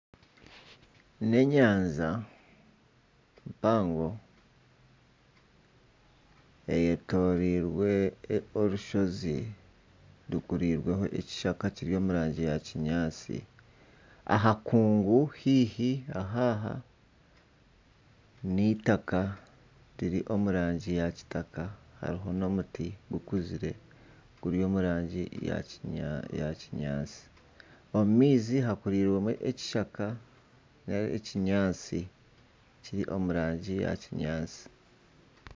N'enyanja mpango eyetorirwe orushozi rukurirweho ekishaka kiri omu rangi ya kinyaatsi aha nkungu haihi aha aha n'eitaaka riri omu rangi ya kitaka hariho n'omuti gukuzire guri omu rangi ya kinyaatsi omu maizi hakurirwemu ekishaka nari ekinyaatsi kiri omu rangi ya kinyaatsi.